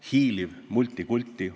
Hiiliv multikulti.